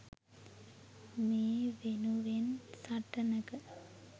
මේ වෙනුවෙන් සටනක